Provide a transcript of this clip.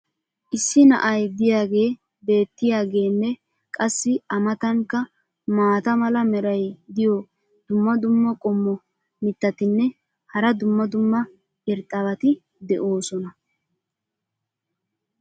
issi na"ay diyaagee beetiyaageenne qassi a matankka maata mala meray diyo dumma dumma qommo mitattinne hara dumma dumma irxxabati de'oosona.